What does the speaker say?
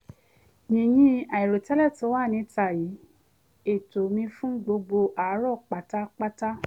yìnyín àìròtẹ́lẹ̀ tó wà níta yí ètò mi fún gbogbo àárọ̀ padà kíákíá